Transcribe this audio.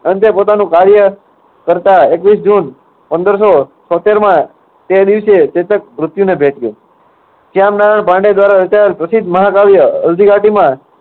અંતે પોતાનું કાર્ય કરતા એકવીસ જૂન પંદર સો છોત્તેરમા તે દિવસે ચેતક મૃત્યુને ભેટ્યો. પ્રસિદ્ધ મહાકાવ્ય હલ્દી ઘાટીમાં